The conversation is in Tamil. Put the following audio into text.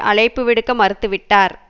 அழைப்பு விடுக்க மறுத்து விட்டார்